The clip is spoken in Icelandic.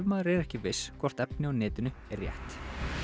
maður er ekki viss hvort efni á netinu er rétt